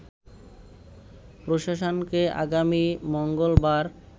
প্রশাসনকে আগামী মঙ্গলবার